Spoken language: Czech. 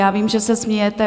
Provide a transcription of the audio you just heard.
Já vím, že se smějete.